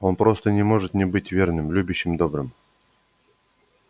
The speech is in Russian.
он просто не может не быть верным любящим добрым